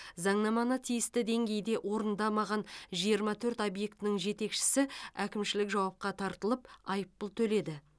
заңнаманы тиісті деңгейде орындамаған жиырма төрт объектінің жетекшісі әкімшілік жауапқа тартылып айыппұл төледі